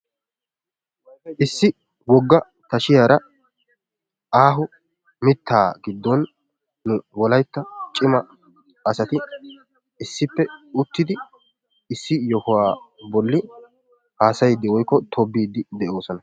Issi tashshiyaara aaho mittaa gidon nu wolaytta cima asati issippe uttidi issi yohuwaa bolli hasayiidi woykko tobbiidi de'oosona.